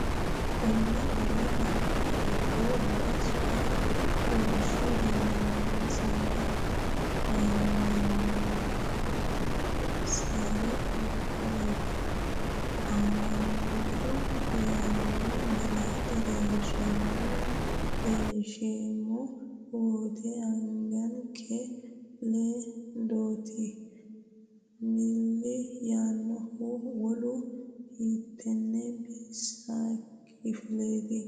Konni woroonni noori giddo uminsahu ha’rinsanni amanyooti noon- sari hiikkoreeti? Amanyoote yaanno malaate leellinsheemmo wote angankenni le- dotenni milli yaannohu wolu hiittenne bisinke kifileeti?